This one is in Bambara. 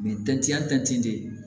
Ni de ye